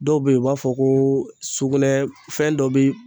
Dɔw bɛ yen u b'a fɔ ko sugunɛ fɛn dɔ bɛ